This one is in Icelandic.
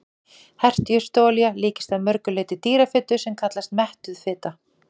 Hert jurtaolía líkist að mörgu leyti dýrafitu sem kallast mettuð fita.